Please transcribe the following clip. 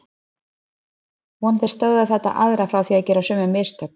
Vonandi stöðvar þetta aðra frá því að gera sömu mistök.